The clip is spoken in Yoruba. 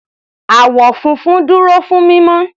Àwọ̀ funfun dúró fún mímọ́.